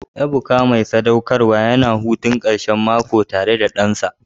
Ebuka, uba mai sadaukarwa, yana hutun karshen mako tare da ɗansa.